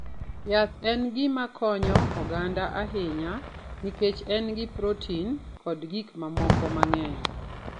Yath en gima konyo oganda ahinya nikech en gi protin kod gik mamoko mang'eny.